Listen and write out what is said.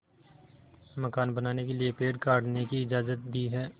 मकान बनाने के लिए पेड़ काटने की इजाज़त दी है